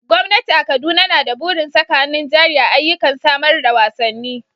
Gwamnati a Kaduna na da burin saka hannun jari a ayyukan samar da wasanni.